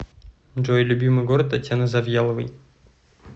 джой любимый город татьяны завьяловой